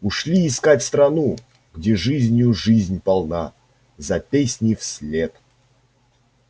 ушли искать страну где жизнью жизнь полна за песней вслед